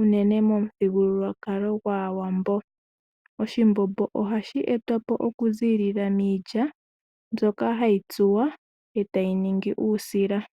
unene momuthigululwakalo gwAawambo. Oshimbombo ohashi etwapo okuzilila miilya mbyoka hayi tsuwa etayi ningi uusila.